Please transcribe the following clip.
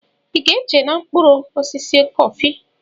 Ị ga-eche m n'okpuru osisi kọfị?